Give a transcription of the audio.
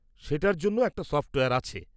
সেটার জন্য একটা সফ্টওয়্যার আছে।